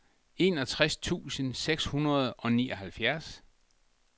enogtres tusind seks hundrede og nioghalvfjerds